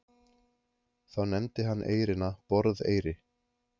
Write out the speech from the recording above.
Þá nefndi hann eyrina Borðeyri.